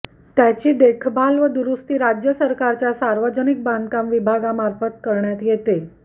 त्याची देखभाल व दुरुस्ती राज्य सरकारच्या सार्वजनिक बांधकाम विभागामार्फत करण्यात येते